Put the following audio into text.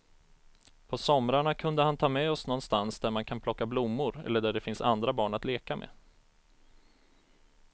På somrarna kunde han ta med oss någonstans där man kan plocka blommor eller där det finns andra barn att leka med.